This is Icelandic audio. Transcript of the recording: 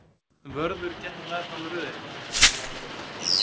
Vörður gekk meðfram röðinni.